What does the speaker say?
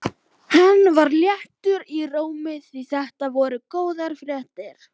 Hann var léttur í rómi því þetta voru góðar fréttir.